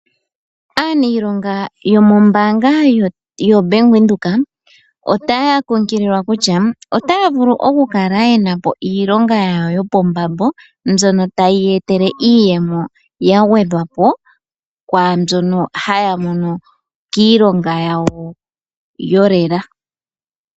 Aaniilonga yomombaanga ya Venduka otaya kunkililwa kutya otaya vulu okukala yenapo iilonga yawo yopombambo, mbyono tayi ya etele iiyemo ya gwedhwapo kwaambyono haya mono kiilonga yawo yolela.